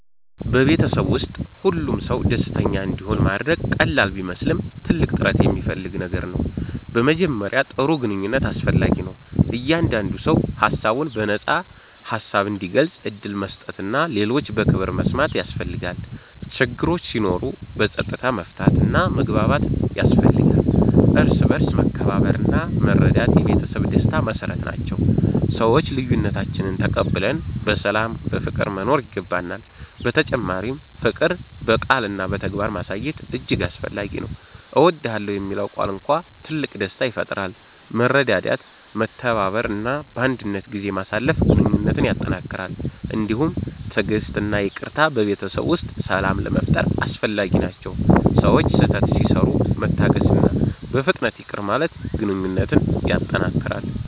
በቤተሰብ ውስጥ ሁሉም ሰው ደስተኛ እንዲሆን ማድረግ ቀላል ቢመስልም ትልቅ ጥረት የሚፈልግ ነገር ነው። በመጀመሪያ ጥሩ ግንኙነት አስፈላጊ ነው፤ እያንዳንዱ ሰው ሀሳቡን በነፃ ሀሳብ እንዲገልጽ ዕድል መስጠት እና ሌሎችን በክብር መስማት ያስፈልጋል። ችግሮች ሲኖሩ በፀጥታ መፍታት እና መግባባት ያስፈልጋል፤ እርስ በርስ መከባበርና መረዳት የቤተሰብ ደስታ መሰረት ናቸው፤ ሰዎች ልዬነታችንን ተቀብለን በሰላም በፍቅር መኖር ይገባናል። በተጨማሪ ፍቅር በቃልና በተግባር ማሳየት እጅግ አስፈላጊ ነው። እወድዳለሁ የሚለው ቃል እንኳን ትልቅ ደስታ ይፈጥራል። መረዳዳት፤ መተባበር እና ባንድነት ጊዜ ማሳለፍ ግንኙነትን ያጠነክራል። እንዲሁም ትዕግሥት እና ይቅርታ በቤተሰብ ውስጥ ሰላም ለመፋጠር አስፈላጊ ናቸው፤ ሰዎች ስህተት ሲሰሩ መታገስእና በፍጥነት ይቅር ማለት ግንኘነት ያጠነክራል።